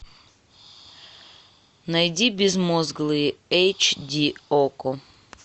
найди безмозглые эйч ди окко